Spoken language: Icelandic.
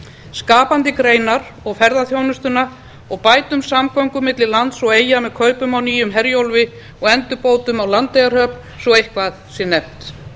skapandi greinar og ferðaþjónustuna og bætum samgöngur milli lands og eyja með kaupum á nýjum herjólfi og endurbótum á landeyjahöfn svo eitthvað sé nefnt